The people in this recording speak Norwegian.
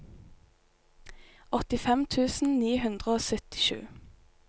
åttifem tusen ni hundre og syttisju